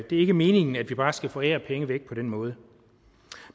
ikke meningen at vi bare skal forære penge væk på den måde